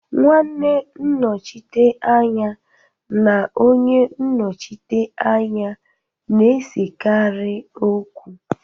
Nwanne nnochite anya na onye nnochite anya na-esekarị okwu.